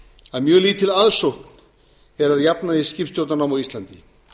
að mjög lítil aðsókn er að jafnaði í skipstjórnarnám á íslandi